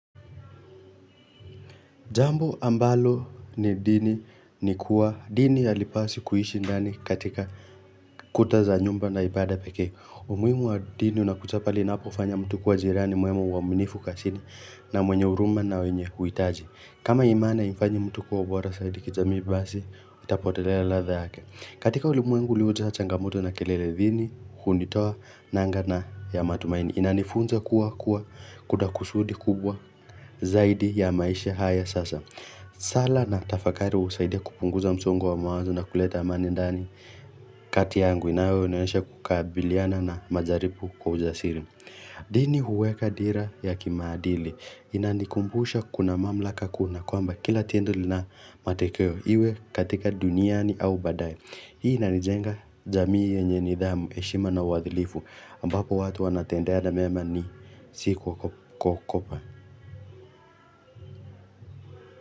Jambo ambalo ni dini ni kuwa dini ya halipaswi kuishi ndani katika kuta za nyumba na ibada pekee. Umuhimu wa dini unakuja pale inapo fanya mtu kuwa jirani mwema uaminifu kazini na mwenye huruma na wenye huitaji. Kama imani haimfanyi mtu kwa bora zaidi kijamii basi itapotelela ladha yake. Katika ulimwengu uliojaa changamoto na kelele dini, hunitoa, nanga na ya matumaini. Inanifunza kuwa kuwa kuna kusudi kubwa zaidi ya maisha haya sasa. Sala na tafakari husaidia kupunguza msongo wa mawazo na kuleta amani ndani kati yangu inayo nionyesha kukabiliana na majaribu kwa ujasiri. Dini huweka dira ya kimaadili. Inanikumbusha kuna mamlaka kuna kwamba kila tendo lina matekeo iwe katika duniani au badae. Hii inanijenga jamii yenye nidhamu, heshima na uadhilifu ambapo watu wanatendeana mema ni si kuogopa.